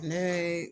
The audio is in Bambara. Ne ye